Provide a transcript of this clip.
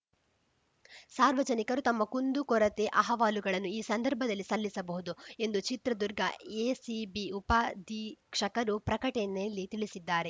ಸಾರ್ವಜನಿಕರು ತಮ್ಮ ಕುಂದುಕೊರತೆ ಅಹವಾಲುಗಳನ್ನು ಈ ಸಂದರ್ಭದಲ್ಲಿ ಸಲ್ಲಿಸಬಹುದು ಎಂದು ಚಿತ್ರದುರ್ಗ ಎಸಿಬಿ ಉಪಾಧೀಕ್ಷಕರು ಪ್ರಕಟಣೆಯಲ್ಲಿ ತಿಳಿಸಿದ್ದಾರೆ